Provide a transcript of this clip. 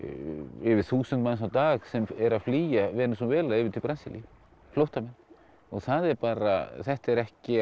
yfir þúsund manns á dag sem eru að flýja Venesúela yfir til Brasilíu flóttamenn það er bara þetta er ekki